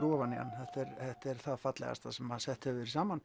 ofan í hann þetta er það fallegasta sem sett hefur verið saman